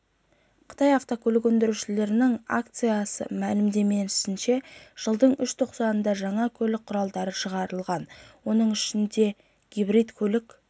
қытай автокөлік өндірушілерінің ассоциацияіы мәліметінше жылдың үш тоқсанында жаңа көлік құралдары шығарылған оның ішінде гибридті көлік